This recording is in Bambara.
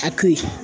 A to ye